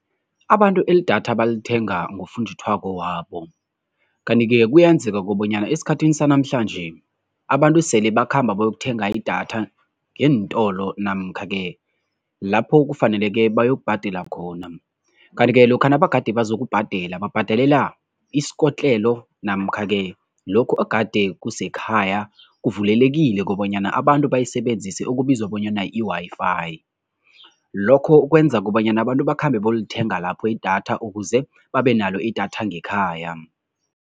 Abantu elidatha balithenga ngofunjathwako wabo. Kanti-ke kuyenzeka kobanyana esikhathini sanamhlanje abantu sele bakhamba bayokuthenga idatha ngeentolo namkha-ke lapho kufaneleke bayokubhadela khona. Kanti-ke lokha nabagade bazokubhadela, babhadelela isikotlelo namkha-ke lokhu egade kusesekhaya kuvulelekile kobanyana abantu bayisebenzise, okubizwa bonyana i-Wi-Fi. Lokho kwenza kobanyana abantu bakhambe bolithenga lapho idatha ukuze babenalo idatha ngekhaya.